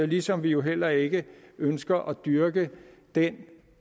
ligesom vi jo heller ikke ønsker at dyrke den